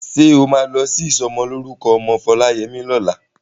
Ṣé o máa lọ sí ìsọmọlórúkọ ọmọ Foláyẹmí lọ́la?